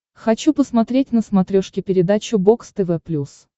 хочу посмотреть на смотрешке передачу бокс тв плюс